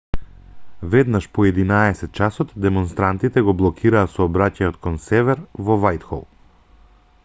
веднаш по 11:00 часот демонстрантите го блокираа сообраќајот кон север во вајтхол